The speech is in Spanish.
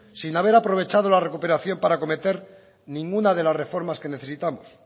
sin haber aprovechado la recuperación para cometer ninguna de las reformas que necesitamos